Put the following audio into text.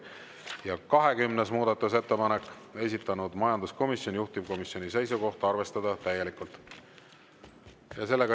Ja 20. muudatusettepanek, esitanud majanduskomisjon, juhtivkomisjoni seisukoht on arvestada täielikult.